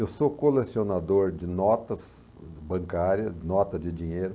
Eu sou colecionador de notas bancárias, nota de dinheiro.